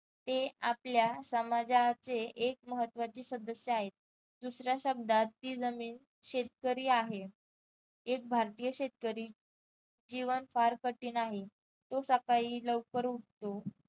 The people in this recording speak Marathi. ते आपल्या समाजाचे एक महत्त्वाचे सदस्य आहेत. दुसऱ्या शब्दात ती जमीन शेतकरी आहे. एक भारतीय शेतकरी जीवन फार कठीण आहे. तो सकाळी लवकर उठतो.